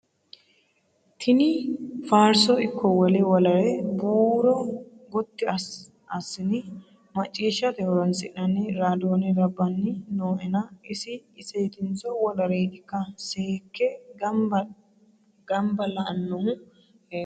Tini faarso ikko wole wolere buuro gotti assine maccishshate horonsi'nanni radione labbanni nooenna isi isetinso woleretikka seekke gamba la'nohu heeriro.